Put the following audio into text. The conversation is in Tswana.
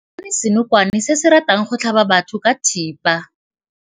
Re bone senokwane se se ratang go tlhaba batho ka thipa.